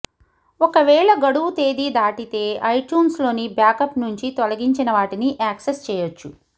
ఒకవేళ గడువు తేదీ దాటితో ఐట్యూన్స్లోని బ్యాక్అప్ నుంచి తొలగించిన వాటిని యాక్సెస్ చేయొచ్చు